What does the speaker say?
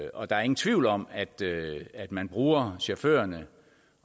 og der er ingen tvivl om at man bruger chaufførerne